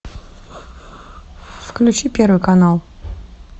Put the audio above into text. включи первый канал